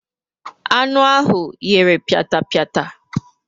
Anu ahụ yere piatapia